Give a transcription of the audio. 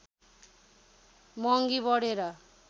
महङ्गी बढेर